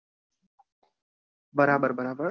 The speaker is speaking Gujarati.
બરાબર બરાબર.